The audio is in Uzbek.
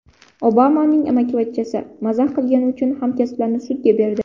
Obamaning amakivachchasi mazax qilgani uchun hamkasblarini sudga berdi.